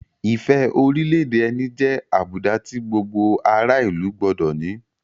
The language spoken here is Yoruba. Ìfẹ́ orílẹ̀-èdè ẹni jẹ́ àbùdá tí gbogbo ará-ìlú gbọdọ̀ ní.